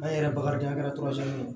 An yɛrɛ bakarijan kɛra